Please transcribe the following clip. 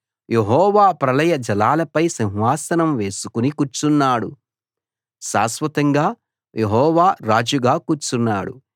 యెహోవా ప్రళయ జలాలపై సింహాసనం వేసుకుని కూర్చున్నాడు శాశ్వతంగా యెహోవా రాజుగా కూర్చున్నాడు